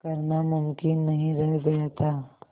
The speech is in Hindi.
करना मुमकिन नहीं रह गया था